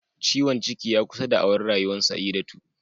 Ciwon ciki ya kusa da'awar Rayuwar Saidatu